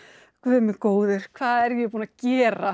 Guð minn góður hvað er ég búin að gera